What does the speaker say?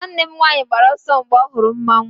nwanne m nwanyi gbara ọsọ, mgbe ọ hụrụ mmanwu